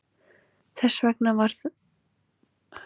Þess vegna þarf að koma útvarpsloftneti fyrir utan bílinn.